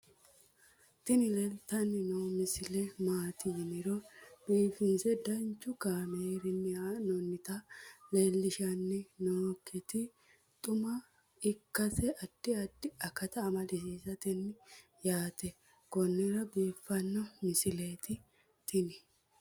tini leeltanni noo misile maaati yiniro biifinse danchu kaamerinni haa'noonnita leellishshanni nonketi xuma ikkase addi addi akata amadaseeti yaate konnira biiffanno misileeti tini